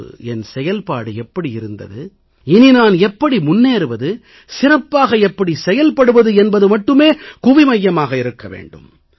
முன்பு என் செயல்பாடு எப்படி இருந்தது இனி நான் எப்படி முன்னேறுவது சிறப்பாக எப்படி செயல்படுவது என்பது மட்டுமே கவனமாக இருக்க வேண்டும்